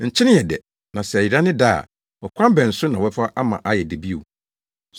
“Nkyene yɛ dɛ. Na sɛ ɛyera ne dɛ a, ɔkwan bɛn so na wɔbɛfa ama ayɛ dɛ bio?